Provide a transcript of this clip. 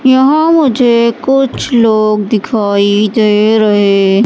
यहां मुझे कुछ लोग दिखाई दे रहे--